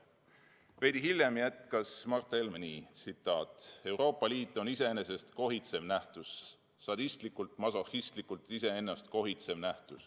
" Veidi hiljem jätkas Mart Helme nii: "Euroopa Liit on iseennast kohitsev nähtus, sadistlikult, masohhistlikult iseennast kohitsev nähtus.